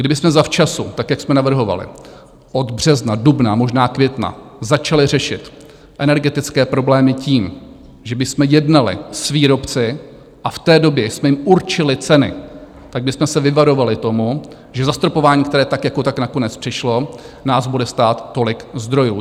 Kdybychom zavčasu, tak jak jsme navrhovali, od března, dubna a možná května, začali řešit energetické problémy tím, že bychom jednali s výrobci, a v té době jsme jim určili ceny, tak bychom se vyvarovali tomu, že zastropování, které tak jako tak nakonec přišlo, nás bude stát tolik zdrojů.